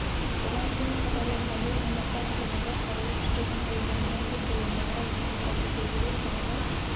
бұған дейін хабарланғандай мамырда астанада қарулы күштердің құрылғанына жыл толуына орай үлкен парад өтеді ол шараға